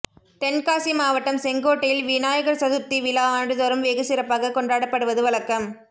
தென்காசி மாவட்டம் செங்கோட்டையில் விநாயகர் சதுர்த்தி விழா ஆண்டுதோறும் வெகு சிறப்பாக கொண்டாடப்படுவது வழக்கம்